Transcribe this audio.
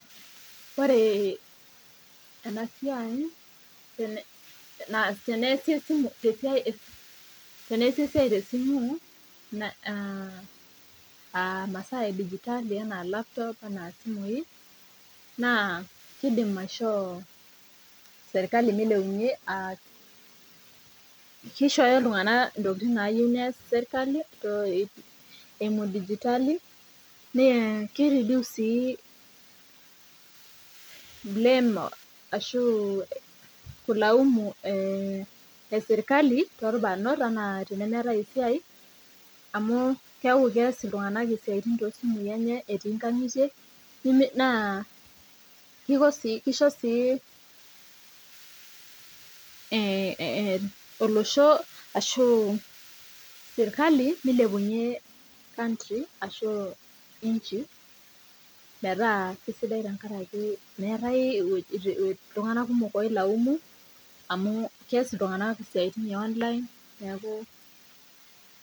Ore ena siai teneasi esimu, teneasi esiai te esimu aa imasaa edijitali anaa lapitop anaa simoi, naa keidim aishoo sirkali meilepunye, keishooyo iltunganak ntokitin nayeu neas sirkali eimu digitali, naa keiredius sii bleemo ashu nkilaumu esirkali to ilbarnot anaa esiai amu keaku keas iltunganak ntokitin te siatin enye etii inkangitie naa keiko sii, keisho sii olosho ashu sirkali meilepunye country ashu inchi metaa kesidai tengaraki meatae ewueji iltungana kumok oilaamuno amuu keas iltunganak siatin e online nekau.